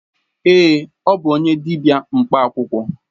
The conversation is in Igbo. Ee, ọ bụ onye dibịa mkpa akwụkwọ.